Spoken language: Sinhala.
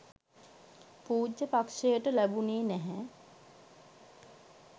පූජ්‍යපක්ෂයට ලැබුනේ නැහැ.